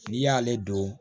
N'i y'ale don